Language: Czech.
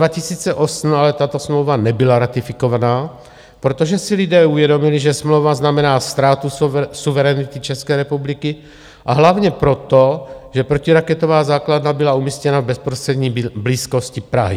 V roce 2008 ale tato smlouva nebyla ratifikovaná, protože si lidé uvědomili, že smlouva znamená ztrátu suverenity České republiky, a hlavně proto, že protiraketová základna byla umístěna v bezprostřední blízkosti Prahy.